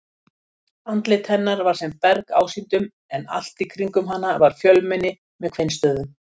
Andlit hennar var sem berg ásýndum en allt í kringum hana var fjölmenni með kveinstöfum.